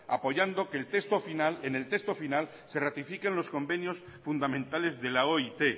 apoyando que en el texto final se ratifiquen los convenios fundamentales de la oit